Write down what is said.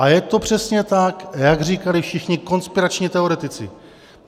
A je to přesně tak, jak říkali všichni konspirační teoretici.